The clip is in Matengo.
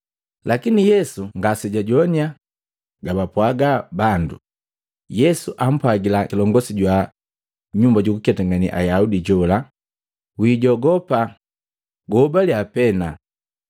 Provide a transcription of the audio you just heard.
Lakine Yesu ngasejajoannya gabapwaga bandu, Yesu ampwagila kilongosi jwa nyumba jukuketangane Ayaudi jola, “Wijogopa, guhobaliya pena.”